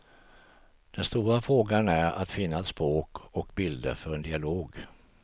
Den stora frågan är att finna ett språk och bilder för en dialog.